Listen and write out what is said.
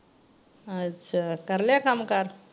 ਅੱਛਾ, ਕਰਲਿਆ ਕੱਮ ਕਾਰ?